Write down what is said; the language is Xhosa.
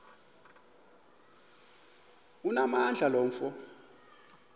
onamandla lo mfo